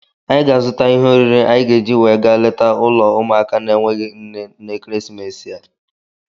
Anyị ga-azụta ihe oriri anyị ga-eji wee gaa leta ụlọ ụmụaka na-enweghị nne n'ekeresimesi a.